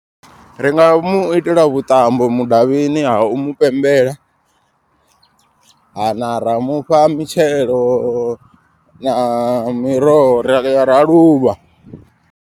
Ringa mu itela vhuṱambo mudavhini ha umu pembela. Ha na ra mufha mitshelo na miroho ra ya ra luvha.